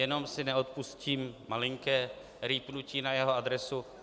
Jenom si neodpustím malinké rýpnutí na jeho adresu.